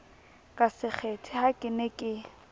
ka sekgethe ha ke ne